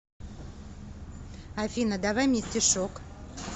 афина давай мне стишок